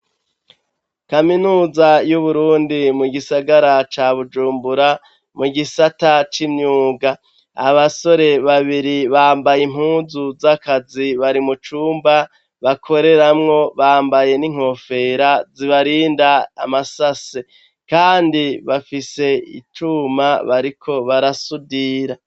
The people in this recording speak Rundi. Kaminuza y'Uburundi mu gisagara ca Bujumbura mu gisata c'imyuga, abasore babiri bambaye impunzu z'akazi bari mu cumba bakoreramwo bambaye n'inkofero zibarinda amasase kandi bafise icuma bariko barasudira.